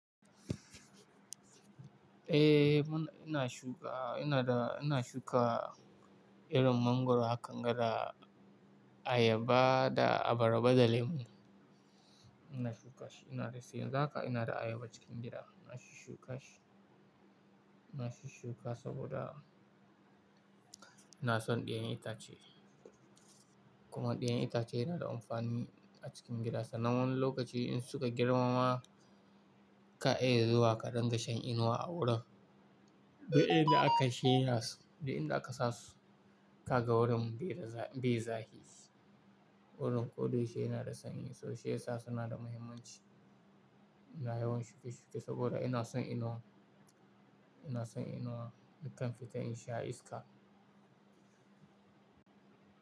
Eh, muna-- ina shuka, ina da, ina shuka irin mangwaro kanga da ayaba da abaraba da lemu. Ina shuka shi, ina da sai za ka, ina da ayaba cikin gida. Ina shuka shi. Ina shuka saboda ina son ɗayan itace. Kuma ɗayan itace yana da amfani a cikin gida sa nan wani lokaci in suka girmama, ka iya zuwa ka dinga shan inuwa a wurin. Daɗaɗen da aka shiya su, daɗaɗen da aka sa su ka ga wurin bai riga, bai zahi. Wurin ko dai shi yana da sanyi, so shiya sa suna da muhimmanci. Ina yawan shuki shuki saboda ina son inuwa. Ina son inuwa, in kan fita in sha iska.